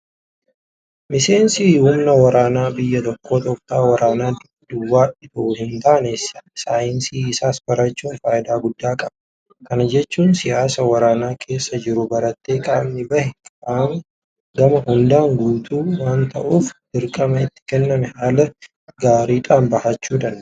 Miseensi humna waraanaa biyya tokkoo tooftaa waraanaa duwwaa itoo hintaane saayinsii isaas barachuun faayidaa guddaa qaba. Kana jechuun siyaasa waraana keessa jiru baratee qaamni bahe gama hundaan guutuu waanta ta'uuf dirqama itti kenname haala gaariidhaan bahachuu danda'a.